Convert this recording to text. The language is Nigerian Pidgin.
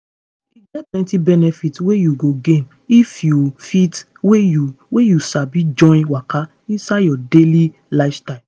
e get plenty benefit wey you go gain if you fit wey you wey you sabi join waka inside your daily lifestyle.